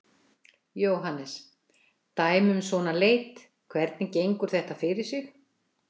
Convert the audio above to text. Jóhannes: Dæmi um svona leit, hvernig gengur þetta fyrir sig?